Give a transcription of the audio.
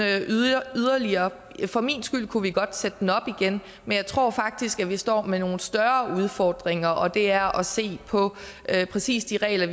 yderligere for min skyld kunne vi godt sætte den op igen men jeg tror faktisk at vi står med nogle større udfordringer og det er at se på præcis de regler